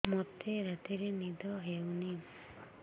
ମୋତେ ରାତିରେ ନିଦ ହେଉନି